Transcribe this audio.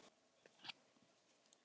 Eitt liða.